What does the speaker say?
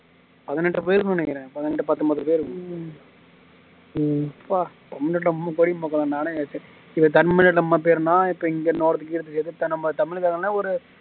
பதினெட்டு பேருனு நெனைக்குற பதினெட்டு பதம்போது பேரு தமிழ்நாட்டுல தமிழ்காரனே ஒரு